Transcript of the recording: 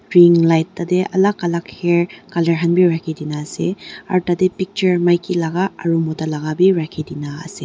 pink light tarte alag alag hair colour khan bhi rakhi kini ase aru tarte picture mauki aru moto laga bhi rakhi dina ase.